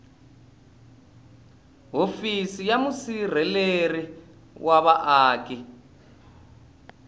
hofisi ya musirheleli wa vaaki